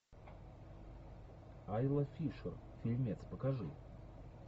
айла фишер фильмец покажи